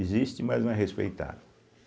Existe, mas não é respeitado.